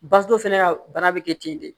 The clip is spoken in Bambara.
Bato fɛnɛ ka bana be kɛ ten de